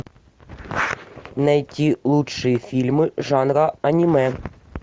найти лучшие фильмы жанра аниме